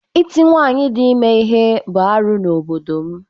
Ịti nwaanyị dị ime ihe bụ arụ n’obodo m.